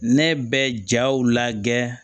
Ne bɛ jaw lajɛ